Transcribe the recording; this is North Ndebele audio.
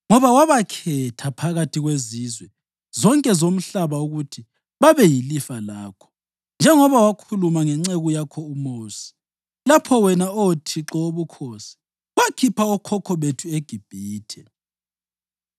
Ngoba wabakhetha phakathi kwezizwe zonke zomhlaba ukuthi babe yilifa lakho, njengoba wakhuluma ngenceku yakho uMosi, lapho wena, Oh Thixo Wobukhosi, wakhipha okhokho bethu eGibhithe.”